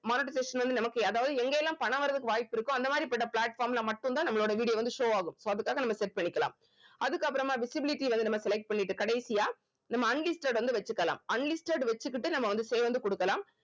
monetization வந்து நமக்கு அதாவது எங்க எல்லாம் பணம் வர்றதுக்கு வாய்ப்பிருக்கோ அந்த மாதிரி பட்ட platform ல மட்டும் தான் நம்மளோட video வந்து show ஆகும் so அதுக்காக நம்ம set பண்ணிக்கலாம் அதுக்கப்புறமா visibility வந்து நம்ம select பண்ணிட்டு கடைசியா நம்ம unlisted வந்து வெச்சிக்கலாம் unlisted வெச்சிகிட்டு நம்ம வந்து save வந்து குடுக்கலாம்